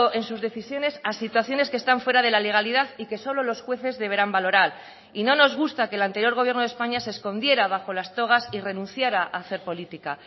en sus decisiones a situaciones que están fuera de la legalidad y que solo los jueces deberán valorar y no nos gusta que el anterior gobierno de españa se escondiera bajo las togas y renunciara a hacer política